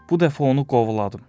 Bu dəfə onu qovladım.